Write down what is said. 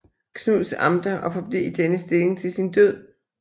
Knuds Amter og forblev i denne stilling til sin død